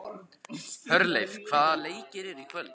Hjörleif, hvaða leikir eru í kvöld?